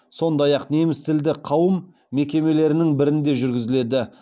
сондай ақ немістілді қауым мекемелерінің бірінде жүргізіледі